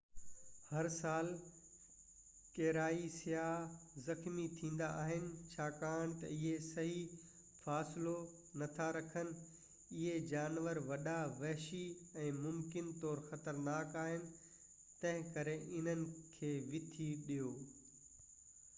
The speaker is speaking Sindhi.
هر سال ڪيرائي سياح زخمي ٿيندا آهن ڇاڪاڻ ته اهي صحيح فاصلو نٿا رکن اهي جانور وڏا وحشي ۽ ممڪن طور خطرناڪ آهن تنهنڪري انهن کي وٿي ڏيو